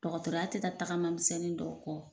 Dɔgɔtɔrɔya tɛ taa tagama misɛnnin dɔw kɔ